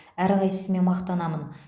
әрқайсысымен мақтанамын